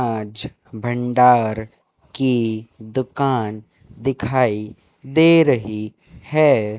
आज भंडार की दुकान दिखाई दे रही है।